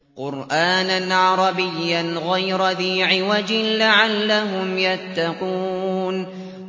قُرْآنًا عَرَبِيًّا غَيْرَ ذِي عِوَجٍ لَّعَلَّهُمْ يَتَّقُونَ